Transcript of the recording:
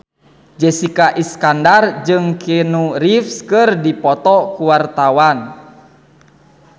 Jessica Iskandar jeung Keanu Reeves keur dipoto ku wartawan